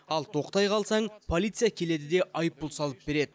ал тоқтай қалсаң полиция келеді де айыппұл салып береді